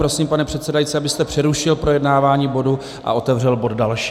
Prosím, pane předsedající, abyste přerušil projednávání bodu a otevřel bod další.